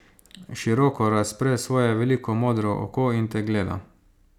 Široko razpre svoje veliko modro oko in te gleda.